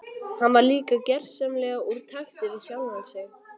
Hann var líka gersamlega úr takti við sjálfan sig.